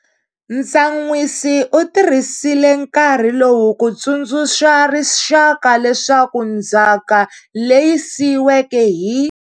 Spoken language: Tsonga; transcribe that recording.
Ntsan'wisi u tirhisile nkarhi lowu ku tsundzuxa rixaka leswaku ndzhaka leyi siyiweke hi.